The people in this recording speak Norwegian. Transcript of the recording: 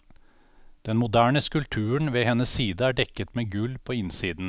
Den moderne skulpturen ved hennes side er dekket med gull på innsiden.